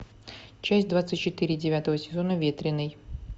часть двадцать четыре девятого сезона ветреный